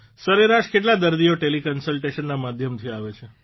સરેરાશ કેટલા દર્દીઓ ટેલીકન્સલટેશનના માધ્યમથી આવે છે